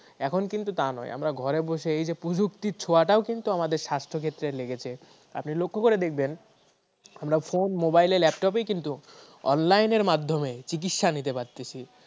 এখন কিন্তু তা নেই আমরা ঘরে বসে প্রযুক্তির ছোঁয়াটাও কিন্তু আমাদের স্বাস্থ্য ক্ষেত্রে লেগেছে। আপনি লক্ষ্য করে দেখবেন আমরা ফোন মোবাইল ল্যাপটপ কিন্তু online মাধ্যমে চিকিৎসা নিতে পারতেছি।